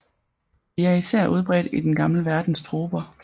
De er især udbredt i den gamle verdens troper